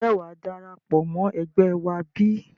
Ǹjẹ́ wàá darapọ̀ mọ́ ẹgbẹ́ wá bí?